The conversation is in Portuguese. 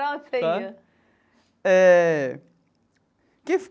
Para onde você ia? Tá. Eh.